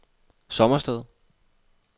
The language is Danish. Sommersted